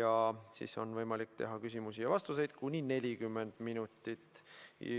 ja siis on võimalik teha küsimusi ja vastuseid kuni 40 minutit.